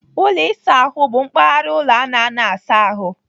Ụlọ ịsa ahụ bụ mpaghara ụlọ a na-anọ asa ahụ.